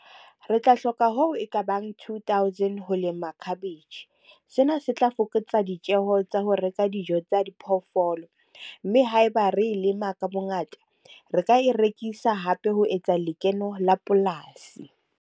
Re tla hloka hoo ekabang two thousand ho lema cabbage. Sena se tla fokotsa ditjeho tsa ho reka dijo tsa di phoofolo. Mme haeba re e lema ka bo ngata, re ka e rekisa hape ho etsa lekeno la polasi.